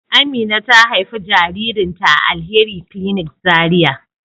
Amina ta haifi jaririn ta a Alheri clinic Zaria